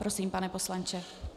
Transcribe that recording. Prosím, pane poslanče.